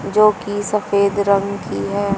जो की सफेद रंग की है।